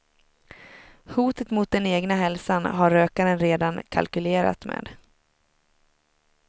Hotet mot den egna hälsan har rökaren redan kalkylerat med.